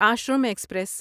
Ashram express